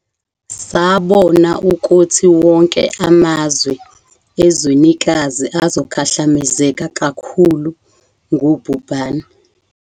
Sabona ukuthi wonke amazwe ezwenikazi azokhahlamezeka kakhulu ngubhubhane.